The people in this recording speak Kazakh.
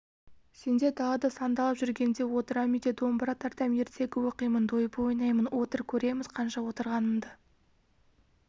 сендер далада сандалып жүргенде отырам үйде домбыра тартам ертегі оқимын дойбы ойнаймын отыр көреміз қанша отырғаныңды